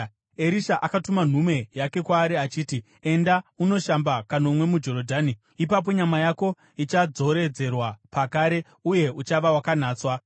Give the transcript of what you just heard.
Erisha akatuma nhume yake kwaari achiti, “Enda unoshamba kanomwe muJorodhani, ipapo nyama yako ichadzoredzerwa pakare uye uchava wakanatswa.”